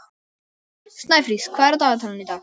Snæfríð, hvað er á dagatalinu í dag?